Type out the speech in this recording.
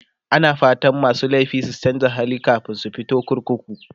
ana fatan masu laifi su chanza hali kamin su fito kurkuku